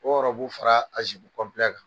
O fara a kan.